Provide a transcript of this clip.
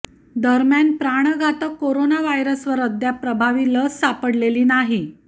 दरम्यान प्राणघातक करोना व्हायरसवर अद्याप प्रभावी लस सापडलेली नाही